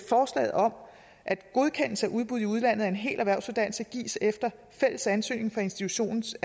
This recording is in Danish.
forslaget om at godkendelse af udbud i udlandet af en hel erhvervsuddannelse gives efter fælles ansøgning fra institutionens